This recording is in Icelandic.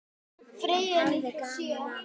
Hann hafði gaman af.